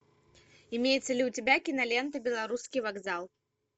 имеется ли у тебя кинолента белорусский вокзал